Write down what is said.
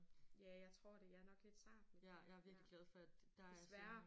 Ja jeg tror det. Jeg er nok lidt sart ja. Desværre